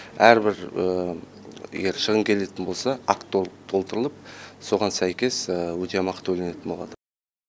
әрбір егер шығын келетін болса акт толтырылып соған сәйкес өтемақы төленетін болады